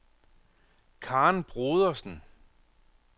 Karen Brodersen